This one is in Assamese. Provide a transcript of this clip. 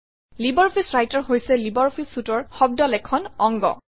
লাইব্ৰঅফিছ ৰাইটাৰ হৈছে লাইব্ৰঅফিছ Suite অৰ শব্দ লেখন অংগ